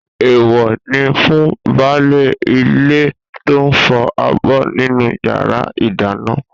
Èèwọ̀ ni fún baálé ilé tó ń fọ abọ́ nínú yàrá ìdáná.